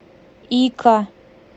ика